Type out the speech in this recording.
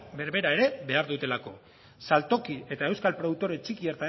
berbera ere behar dutelako saltoki eta euskal produktore txiki